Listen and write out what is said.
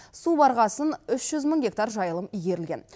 су барғасын үш жүз мың гектар жайылым игерілген